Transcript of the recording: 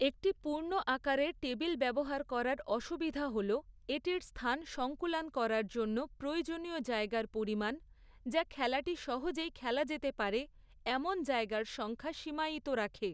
একটি পূর্ণ আকারের টেবিল ব্যবহার করার অসুবিধা হল এটির স্থান সংকুলান করার জন্য প্রয়োজনীয় জায়গার পরিমাণ, যা খেলাটি সহজেই খেলা যেতে পারে এমন জায়গার সংখ্যা সীমায়িত রাখে।